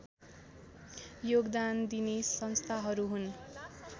योगदान दिने संस्थाहरू हुन्